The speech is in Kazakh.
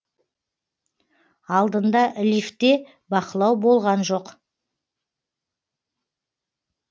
алдында лифтте бақылау болған жоқ